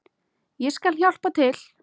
Ég skal hjálpa til.